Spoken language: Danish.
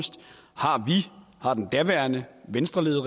daværende venstreregering